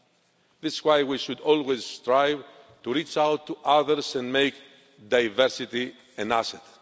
That is why we should always strive to reach out to others and make diversity an asset.